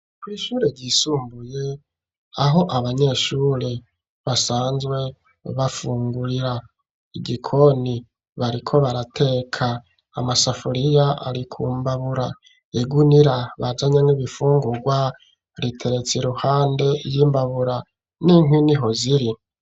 Kw' ishure ry'isumbuye aho abanyeshure basanzwe bafungurira igikoni bariko barateka amasafuriya arikumbabura igunira bajanye n' ibifungurwa riteretse iruhande ry'imbabura n'inkwi niho ziri.